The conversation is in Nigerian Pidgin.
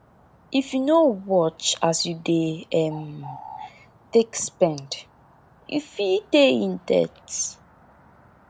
if yu no watch as yu dey um take spend yu fit dey in debt